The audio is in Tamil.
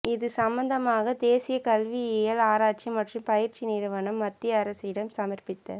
இது சம்மந்தமாக தேசிய கல்வியியல் ஆராய்ச்சி மற்றும் பயிற்சி நிறுவனம் மத்திய அரசிடம் சமர்ப்பித்த